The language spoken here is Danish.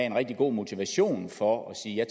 en rigtig god motivation for at sige at